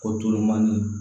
Ko jolenmani